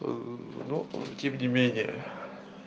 но тем не менее